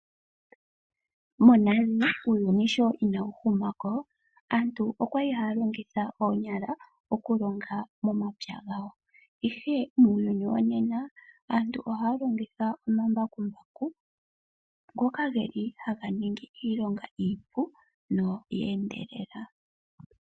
Monale sho uuyuni inawu huma ko, aantu okwali haya longitha oonyala okulonga nomapya gawo, ihe muuyuni womena aantu ohaya longitha omambakumbaku ngoka geli haga ningi iilonga iipu no ya endelela.